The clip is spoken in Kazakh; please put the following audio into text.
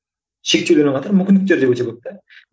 шектеулермен қатар мүмкіндіктер де өте көп те